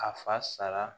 A fa sara